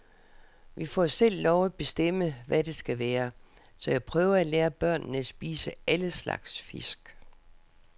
Vi får selv lov at bestemme, hvad det skal være, så jeg prøver at lære børnene at spise alle slags fisk.